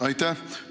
Aitäh!